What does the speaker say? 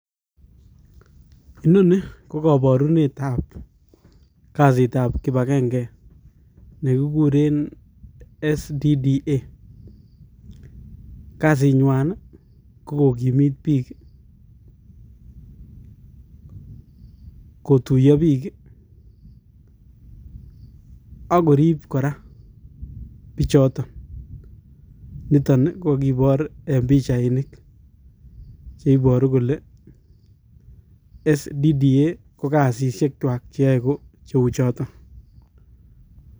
Inoni ko koborunetab kasitab kibagenge, nekikuren SDDA, kasinywan ko kokimiit biik, kotuiyo biik ak koriib kora bichoton, Niton kakiboor eng pichainik cheiboru kole SDDA KO kasisyechwak cheyoe kocheuchoton